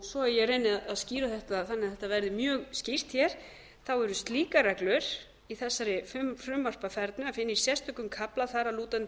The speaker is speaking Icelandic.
svo að ég reyni að skýra þetta þannig að þetta verði mjög skýrt hér er slíkar reglur í þessari frumvarpafernu að finna í sérstökum kafla þar að lútandi í